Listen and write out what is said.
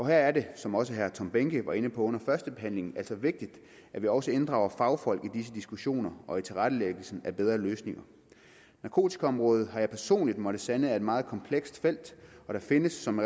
her er det som også herre tom behnke var inde på under førstebehandlingen altså vigtigt at vi også inddrager fagfolk i disse diskussioner og i tilrettelæggelsen af bedre løsninger narkotikaområdet er har jeg personligt måttet sande et meget komplekst felt og der findes som